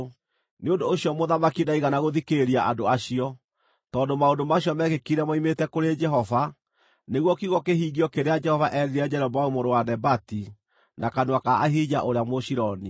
Nĩ ũndũ ũcio mũthamaki ndaigana gũthikĩrĩria andũ acio, tondũ maũndũ macio meekĩkire moimĩte kũrĩ Jehova, nĩguo kiugo kĩhingio kĩrĩa Jehova eerire Jeroboamu mũrũ wa Nebati na kanua ka Ahija ũrĩa Mũshiloni.